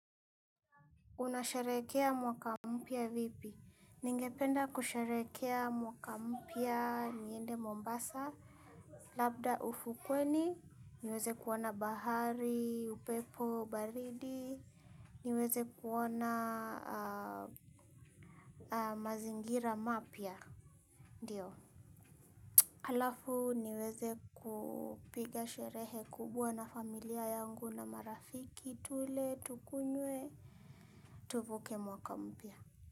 Unasharehekea mwaka mpya vipi? Ningependa kusherehekea mwaka mpya niende Mombasa. Labda ufukweni, niweze kuona bahari, upepo, baridi, niweze kuona mazingira mapya. Ndiyo. Halafu niweze kupiga sherehe kubwa na familia yangu na marafiki, tule, tukunywe, tuvuke mwaka mpya.